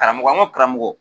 Karamɔgɔ n ko karamɔgɔ